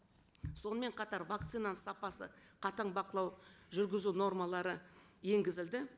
сонымен қатар вакцинаның сапасы қатаң бақылау жүргізу нормалары енгізілді